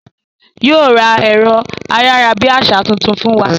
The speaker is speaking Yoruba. Yóò ra ẹ̀rọ ayárabíàṣá tuntun fún wa